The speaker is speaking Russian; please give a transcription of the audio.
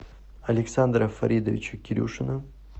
александра фаридовича кирюшина